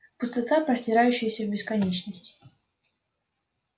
пустота простирающаяся в бесконечность